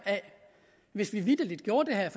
hvis vi vitterlig gjorde det her